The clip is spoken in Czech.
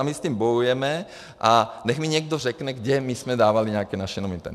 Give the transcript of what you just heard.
A my s tím bojujeme a nechť mi někdo řekne, kam my jsme dávali nějaké naše nominanty.